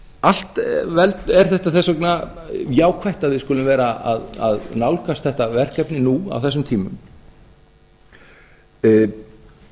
allt er þetta þess vegna jákvætt að við skulum vera að nálgast þetta verkefni nú á þessum tímum ég